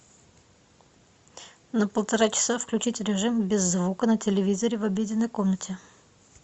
на полтора часа включить режим без звука на телевизоре в обеденной комнате